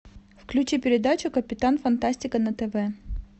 включи передачу капитан фантастика на тв